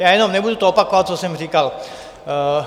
Já jenom - nebudu to opakovat, co jsem říkal...